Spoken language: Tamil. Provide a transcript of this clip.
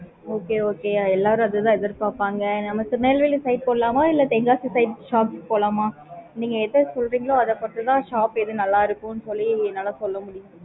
okay okay எல்லாரும் அத தா எதிர் பாப்பாங்க நம்ம neyveli side போலாமா இல்ல tenkasi side போலாமா உங்களுக்கு எது புடிக்குமோ அத பொறுத்து தா shop எது நல்லா இருக்கும்னு சொல்ல முடியும்